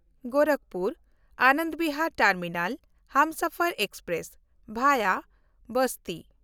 Gorakhpur-Anand Bihar terminal Humsafar express (ᱵᱷᱟᱭᱟ ᱵᱟᱥᱴᱤ)